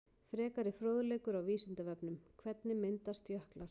Frekari fróðleikur á Vísindavefnum: Hvernig myndast jöklar?